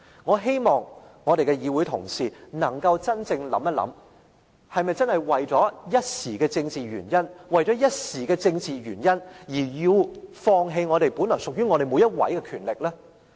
我希望我們的議會同事能夠真正想一想，是否真的為了一時的政治原因而要放棄本來屬於我們每一位的權力？